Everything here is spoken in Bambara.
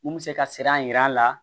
Mun bɛ se ka sira yira an la